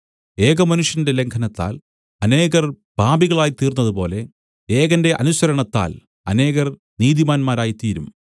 ഏകമനുഷ്യന്റെ ലംഘനത്താൽ അനേകർ പാപികളായിത്തീർന്നതുപോലെ ഏകന്റെ അനുസരണത്താൽ അനേകർ നീതിമാന്മാരായിത്തീരും